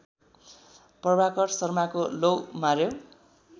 प्रभाकर शर्माको लौ मार्‍यो